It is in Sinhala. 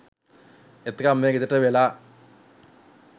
එතකං මේ ගෙදරට වෙලා